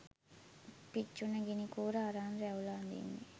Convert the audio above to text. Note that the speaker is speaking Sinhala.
"පිච්චුන ගිනි කූර අරන් රැවුල අඳින්නේ